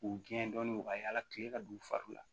K'u gɛn dɔɔnin u ka yala kilen ka don u fariw la